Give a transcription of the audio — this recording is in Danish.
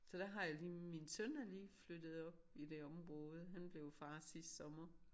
Så der har jeg lige min søn er lige flyttet op i det område han blev far sidste sommer